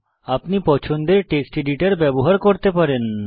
আপনি পছন্দের text editor ব্যবহার করতে পারেন